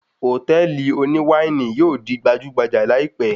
Hòtẹ́ẹ̀lì oní wáìnì yóò di gbajúgbajà láìpẹ́.